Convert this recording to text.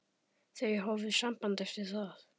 Þau hófu samband eftir það.